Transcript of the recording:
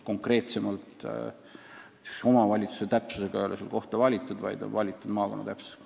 Konkreetsemalt, omavalitsuse täpsusega ei ole seal kohta välja pakutud, võimalik asukoht on maakonna täpsusega.